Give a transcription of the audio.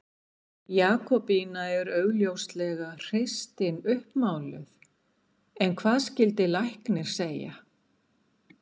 Jakobína er augljóslega hreystin uppmáluð en hvað skyldi læknir segja?